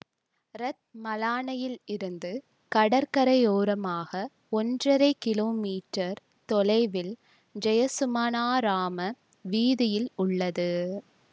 இரத்மலானையிலிருந்து கடற்கரையோரமாக ஒன்றரை கிலோமீற்றர் தொலைவில் ஜயசுமனாராம வீதியில் உள்ளது